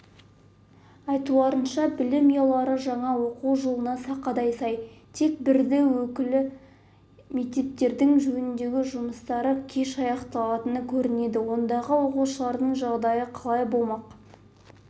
айтуларынша білім ұялары жаңа оқу жылына сақадай-сай тек бірді-екілі мектептердің жөндеу жұмыстары кеш аяқталатын көрінеді ондағы оқушылардың жағдайы қалай болмақ